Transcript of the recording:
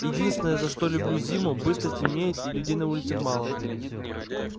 единственное за что люблю зиму быстро темнеет и людей на улицах мало